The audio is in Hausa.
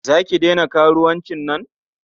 Za ki daina karuwancin nan?